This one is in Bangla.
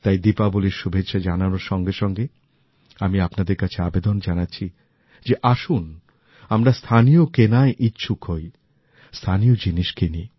তাই দীপাবলির শুভেচ্ছা জানানোর সঙ্গেসঙ্গে আমি আপনাদের কাছে আবেদন জানাচ্ছি যে আসুন আমরা স্থানীয় কেনায় ইচ্ছুক হই স্থানীয় জিনিস কিনি